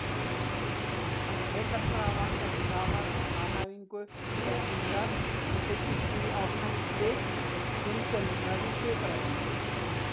Heildarkrafan er krafa um samhæfingu þekkingar og byggist því á þætti skynseminnar í siðfræðinni.